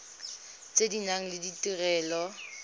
tse di nang le ditirelo